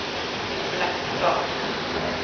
Blackstad